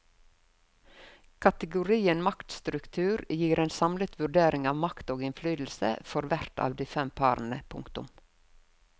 Kategorien maktstruktur gir en samlet vurdering av makt og innflytelse for hvert av de fem parene. punktum